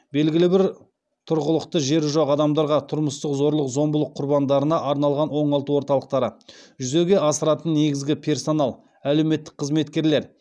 белгілі бір тұрғылықты жері жоқ адамдарға тұрмыстық зорлық зомбылық құрбандарына арналған оңалту орталықтары жүзеге асыратын негізгі персонал әлеуметтік қызметкерлер